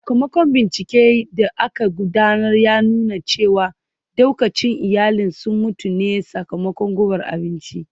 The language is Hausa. Sakamakon binciken da aka gudanar ya nuna cewa daukacin iyalin sun mutu ne sakamakon gubar abinci